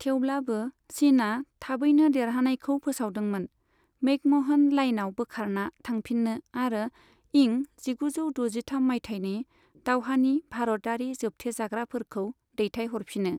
थेवब्लाबो, चिनआ थाबैनो देरहानायखौ फोसावदोंमोन, मैकमोहन लाइनआव बोखारना थांफिनो आरो इं जिगुजौ दजिथाम माइथायनि दावहानि भारतयारि जोबथेजाग्राफोरखौ दैथायहरफिनो।